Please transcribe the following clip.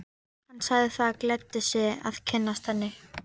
Hann sagði það gleddi sig að kynnast henni.